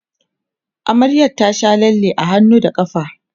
amaryar ta Sha lalle a hannu da ƙafa